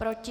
Proti?